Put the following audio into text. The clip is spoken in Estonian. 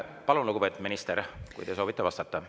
Palun, lugupeetud minister, kui te soovite vastata.